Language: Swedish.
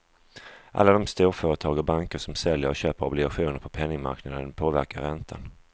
Alla de storföretag och banker som säljer och köper obligationer på penningmarknaden påverkar räntan.